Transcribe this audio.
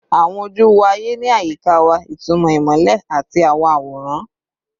Awọn oju wo aye ni ayika wa, itumọ imọlẹ ati awọn aworan